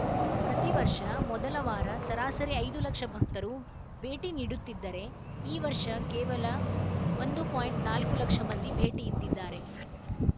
ಪ್ರತಿವರ್ಷ ಮೊದಲ ವಾರ ಸರಾಸರಿ ಐದು ಲಕ್ಷ ಭಕ್ತರು ಭೇಟಿ ನೀಡುತ್ತಿದ್ದರೆ ಈ ವರ್ಷ ಕೇವಲ ಒಂದು ಪಾಯಿಂಟ್ ನಾಲ್ಕು ಲಕ್ಷ ಮಂದಿ ಭೇಟಿ ಇತ್ತಿದ್ದಾರೆ